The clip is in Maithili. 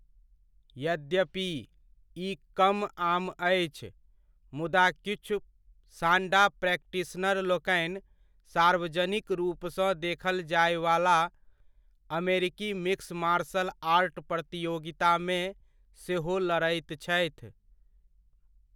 यद्यपि, ई कम आम अछि, मुदा किछु सांडा प्रैक्टिशनरलोकनि सार्वजनिक रूपसँ देखल जाय वाला अमेरिकी मिक्स मार्शल आर्ट प्रतियोगिता मे सेहो लड़ैत छथि।